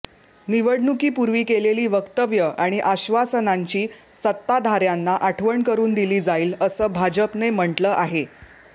निवडणुकीपूर्वी केलेली वक्तव्य आणि आश्वासनांची सत्ताधाऱ्यांना आठवण करून दिली जाईल असं भाजपने म्हटलं आहे